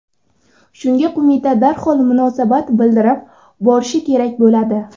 Shunga qo‘mita darhol munosabat bildirib borishi kerak bo‘ladi.